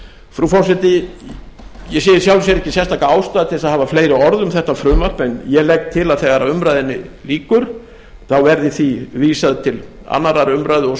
frú forseti ég sé í sjálfu sér ekki fleiri ástæðu til að hafa fleiri orð um þetta frumvarp en ég legg til þegar að umræðunni lýkur þá verði því vísað til annarrar umræðu og